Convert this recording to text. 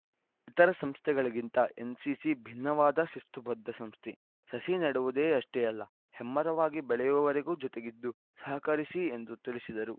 ಇತರೆ ಸಂಸ್ಥೆಗಳಿಗಿಂತ ಎನ್‌ಸಿಸಿ ಭಿನ್ನವಾದ ಶಿಸ್ತುಬದ್ಧ ಸಂಸ್ಥೆ ಸಸಿ ನೆಡುವುದಷ್ಟೇ ಅಲ್ಲ ಹೆಮ್ಮರವಾಗಿ ಬೆಳೆಯುವವರೆಗೂ ಜೊತೆಗಿದ್ದು ಸಹಕರಿಸಿ ಎಂದು ತಿಳಿಸಿದರು